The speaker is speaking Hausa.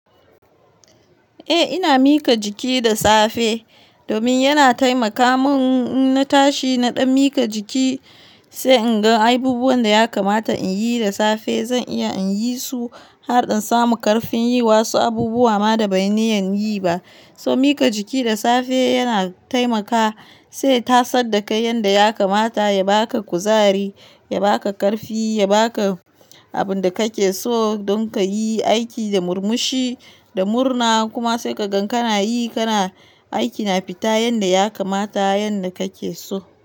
Eh ina mika jiki da safe domin yana taimaka mun in na tashi na ɗan mika jiki sai in ga abubuwan da ya kamata in yi da safe. Zan iya in yi su har in samu karfin yi wasu abubuwa ma da ban yi niyyan yi ba. So mika jiki da safe yana taimaka sai ya tasar dakai yanda ya kamata ya baka kuzari, ya baka ƙarfi, ya baka abin da kake so don ka yi aiki da murmushi da murna. Kuma sai ka gan kana yi kana aiki na fita yanda ya kamata yanda kake so.